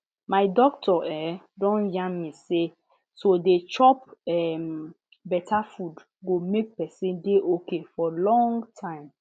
my doctor um don yarn me say to dey chop um better food go make person dey okay for long time